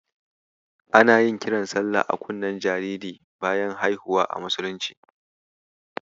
Ana yin kiran salla a kunnen jariri bayan haihuwa a musulunci.